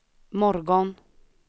morgon